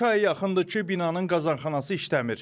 İki aya yaxındır ki, binanın qazanxanası işləmir.